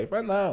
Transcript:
Ele falou, não.